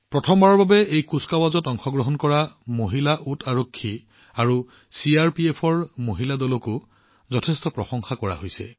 প্ৰথমবাৰৰ বাবে এই কুচকাৱাজত অংশগ্ৰহণ কৰা মহিলা উট আৰোহী আৰু চিআৰপিএফৰ মহিলা দলকো যথেষ্ট প্ৰশংসা কৰা হৈছে